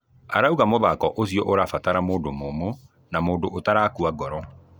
Arauga mũthako ũcio ũrabatara mũndũ mũmũ na mũndũ atarakua ngoro.